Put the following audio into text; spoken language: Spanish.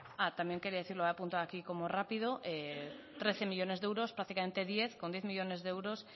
también quería decir lo he apuntado aquí como rápido trece millónes de euros prácticamente diez con diez millónes de euros si